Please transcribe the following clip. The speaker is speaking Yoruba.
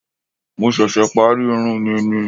Mo ṣẹ̀ṣẹ̀ parí irun mi ni